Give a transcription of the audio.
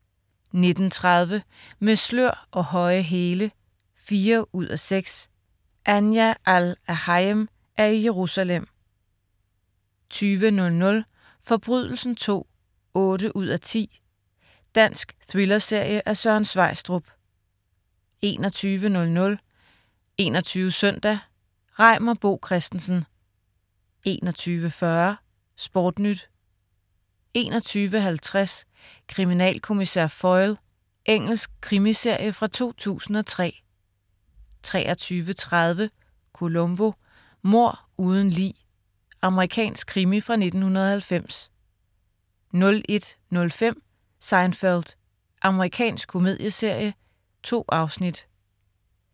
19.30 Med slør og høje hæle 4:6. Anja Al-Erhayem er i Jerusalem 20.00 Forbrydelsen II 8:10. Dansk thrillerserie af Søren Sveistrup 21.00 21 Søndag. Reimer Bo Christensen 21.40 SportNyt 21.50 Kriminalkommissær Foyle. Engelsk krimiserie fra 2003 23.30 Columbo: Mord uden lig. Amerikansk krimi fra 1990 01.05 Seinfeld. Amerikansk komedieserie. 2 afsnit